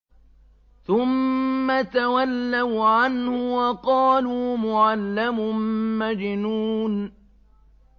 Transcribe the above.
ثُمَّ تَوَلَّوْا عَنْهُ وَقَالُوا مُعَلَّمٌ مَّجْنُونٌ